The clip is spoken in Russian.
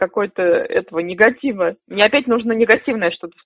какой-то этого негатива мне опять нужно негативное что т